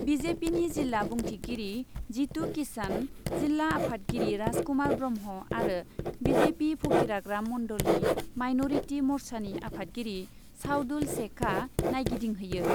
बि जे पिनि जिल्ला बुंथिगिरि जितु किशान, जिल्ला आफादगिरि राजकुमार ब्रह्म आरो बि जे पि फकिराग्राम मन्डलनि माइन'रिटि मर्चानि आफादगिरि साउदुल सेखआ नायगिदिंहैयो।